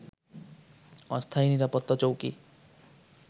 অস্থায়ী নিরাপত্তা চৌকি